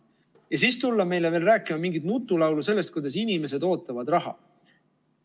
Ja siis tulla meile veel rääkima mingit nutulaulu sellest, kuidas inimesed ootavad raha.